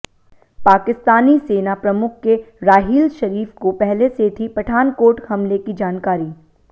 पाकिस्तानी सेना प्रमुख के राहील शरीफ को पहले से थी पठानकोट हमले की जानकारी